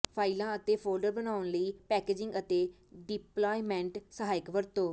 ਫਾਇਲਾਂ ਅਤੇ ਫੋਲਡਰ ਬਣਾਉਣ ਲਈ ਪੈਕੇਜਿੰਗ ਅਤੇ ਡਿਪਲਾਇਮੈਂਟ ਸਹਾਇਕ ਵਰਤੋ